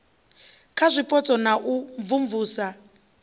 kha zwipotso na u imvumvusa